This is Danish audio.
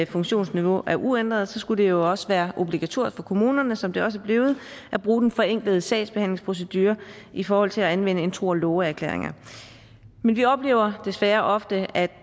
funktionsniveau er uændret skulle det jo også være obligatorisk for kommunerne som det også er blevet at bruge den forenklede sagsbehandlingsprocedure i forhold til at anvende tro og love erklæringer men vi oplever desværre ofte at